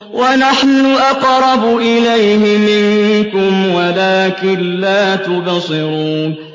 وَنَحْنُ أَقْرَبُ إِلَيْهِ مِنكُمْ وَلَٰكِن لَّا تُبْصِرُونَ